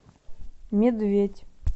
медведь